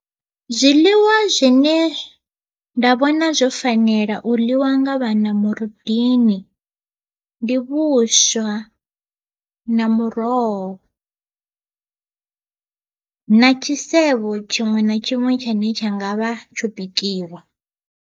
Zwiḽiwa zwine nda vhona zwo fanela u ḽiwa nga vhana murundini, ndi vhuswa na muroho na tshisevho tshiṅwe na tshiṅwe tshine tsha nga vha tsho bikiwa.